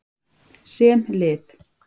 Sem lið.